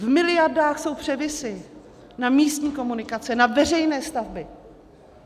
V miliardách jsou převisy na místní komunikace, na veřejné stavby.